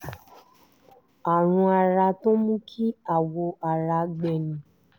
àrùn ara tó ń mú kí awọ ara gbẹ ni